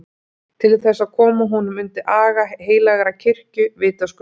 Til þess að koma honum undir aga heilagrar kirkju, vitaskuld!